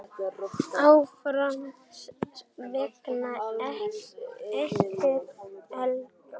Áfram veginn ekur glaður.